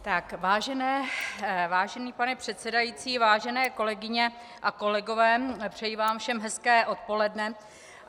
Vážený pane předsedající, vážené kolegyně a kolegové, přeji vám všem hezké odpoledne.